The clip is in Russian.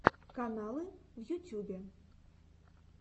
каналы в ютюбе